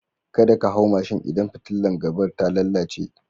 Kada ka hau mashin idan fitilar gaba ta lalace.